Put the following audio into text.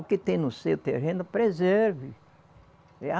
O que tem no seu terreno, preserve.